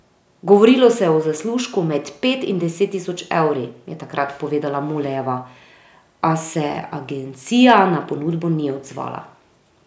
Govorilo se je o zaslužku med pet in deset tisoč evri, je takrat povedala Mulejeva, a se agencija na ponudbo ni odzvala.